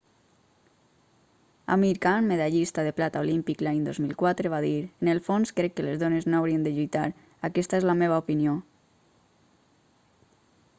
amir khan medallista de plata olímpic l'any 2004 va dir en el fons crec que les dones no haurien de lluitar aquesta és la meva opinió